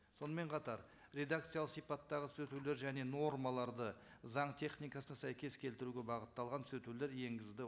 сонымен қатар редакциялы сипаттағы түзетулер және нормаларды заң техникасы сәйкес келтіруге бағытталған түзетулер енгізді